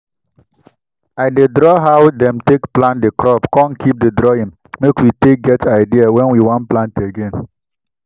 i dey draw how dem take plant di crop con keep di drawing make we take get idea when we want plant again.